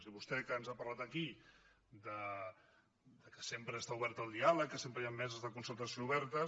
i vostè que ens ha parlat aquí que sempre està oberta al diàleg que sempre hi han meses de concertació obertes